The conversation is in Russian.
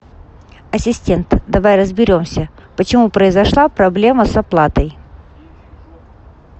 ассистент давай разберемся почему произошла проблема с оплатой